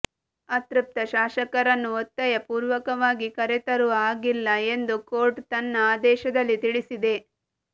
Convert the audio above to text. ಅತೃಪ್ತ ಶಾಸಕರನ್ನು ಒತ್ತಾಯಪೂರ್ವಕವಾಗಿ ಕರೆತರುವ ಹಾಗಿಲ್ಲ ಎಂದು ಕೋರ್ಟ್ ತನ್ನ ಆದೇಶದಲ್ಲಿ ತಿಳಿಸಿದೆ